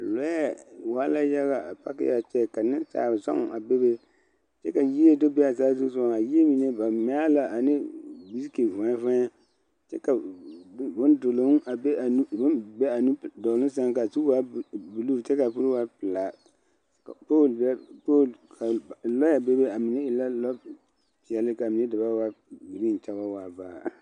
Lɔɛ waa la yaga a pake a kyɛ ka nensaalzɔŋ a bebe kyɛ ka yie do be a saazusogoŋ a yie mine ba mɛ a la ane biriki fɔɛ fɔɛ kyɛ ka bon duloŋ a be a nu duloŋ seŋ ka zu waa buluu kyɛ kaa pul waa pelaa ka poole be poole lɔɛ be a be a mine waa e peɛli kyɛ kaa mine da buaa waa buluu kyɛ wa waa baare.